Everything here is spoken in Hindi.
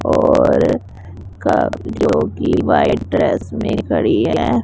और काफी जो कि व्हाइट ड्रेस में खड़ी है।